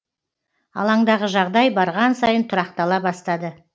алаңдағы жағдай барған сайын тұрақтала бастады